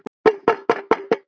Var þetta þá svona?